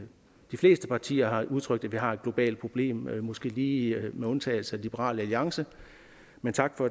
de fleste partier har udtrykt at vi har et globalt problem måske lige med undtagelse af liberal alliance men tak for